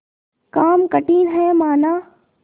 काम कठिन हैमाना